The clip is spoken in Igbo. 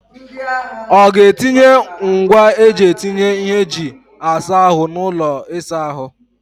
Ọ ga-etinye ngwaa eji etinye ihe eji asa ahụ n'ụlọ ịsa ahụ?